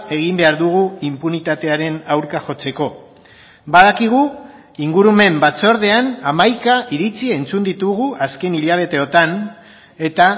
egin behar dugu inpunitatearen aurka jotzeko badakigu ingurumen batzordean hamaika iritzi entzun ditugu azken hilabeteotan eta